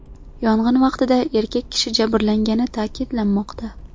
Yong‘in vaqtida erkak kishi jabrlangani ta’kidlanmoqda.